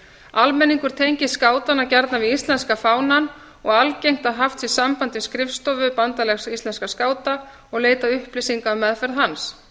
almenningur tengir skátana gjarnan við íslenska fánann og algengt að haft sé samband við skrifstofu bandalags íslenskra skáta og leitað upplýsinga um meðferð hans